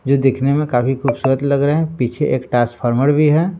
जो दिखने में काफी खूबसूरत लग रहे हैं पीछे एक ट्रांसफार्मर भी है।